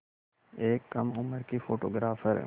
एक कम उम्र की फ़ोटोग्राफ़र